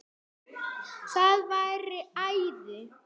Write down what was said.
Það væri æði